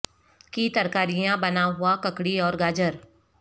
کی ترکاریاں بنا ہوا ککڑی اور گاجر